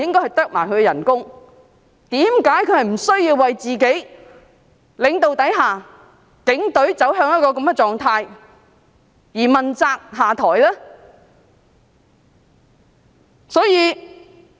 為何他不需要為警隊在他的領導下走向一個這樣的狀態而問責下台呢？